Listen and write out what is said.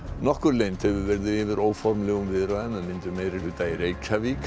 nokkur leynd hefur verið yfir óformlegum viðræðum um myndun meirihluta í Reykjavík